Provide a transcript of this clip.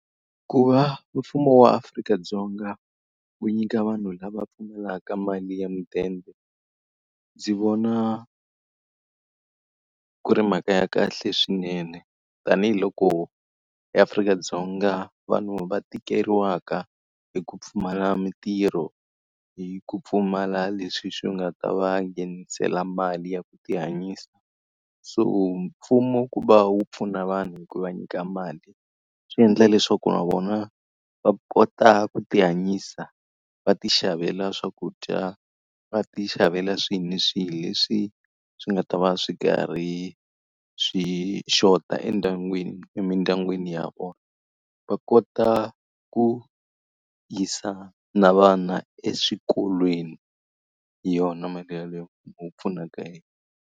Ku va mfumo wa Afrika-Dzonga wu nyika vanhu lava pfumalaka mali ya mudende, ndzi vona ku ri mhaka ya kahle swinene tanihiloko eAfrika-Dzonga vanhu va tikeriwaka hi ku pfumala mitirho, hi ku pfumala leswi swi nga ta va nghenisela mali ya ku ti hanyisa. So mfumo ku va wu pfuna vanhu hi ku va nyika mali, swi endla leswaku na vona va kota ku tihanyisa, va tixavela swakudya, va tixavela swihi ni swihi leswi swi nga ta va swi karhi swi xota emindyangwini ya vona. Va kota ku yisa na vana eswikolweni hi yona mali yeleyo mfumo wu pfunaka hi yona.